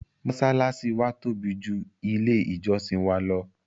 mọ́sálásí wa tóbi ju ilé ìjọ́sìn wa lọ.